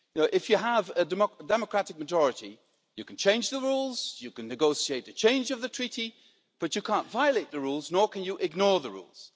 If you have a democratic majority, you can change the rules, you can negotiate a change of the treaty, but you can't violate the rules, nor can you ignore the rules.